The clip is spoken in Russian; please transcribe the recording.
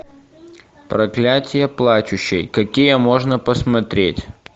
проклятие плачущей какие можно посмотреть